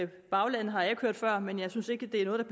baglandet har jeg ikke hørt før men jeg synes ikke det er noget